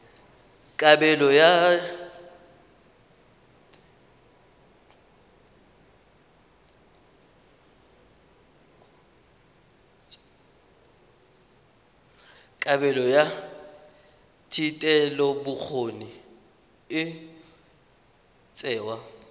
kabelo ya thetelelobokgoni e tsewa